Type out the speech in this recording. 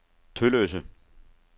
Tølløse